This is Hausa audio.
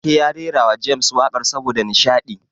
Ake ya rerawa James waƙar saboda nishaɗi.